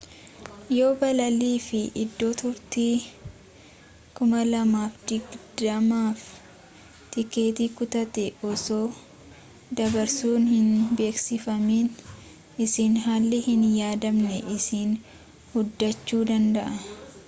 yoo balalii fi iddoo turtii 2020f tikkeettii kutatte osoo dabarsuun hin beeksifamiin siin haalli hin yaadamnee si mudaachu danda'aa